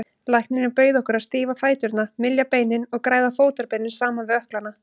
Læknirinn bauð okkur að stífa fæturna, mylja beinin og græða fótarbeinin saman við ökklana.